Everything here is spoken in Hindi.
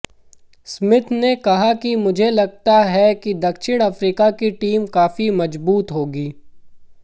स्मिथ ने कहा कि मुझे लगता है कि दक्षिण अफ्रीका की टीम काफी मजबूत होगी